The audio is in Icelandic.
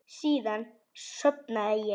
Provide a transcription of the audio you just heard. Síðan sofnaði ég.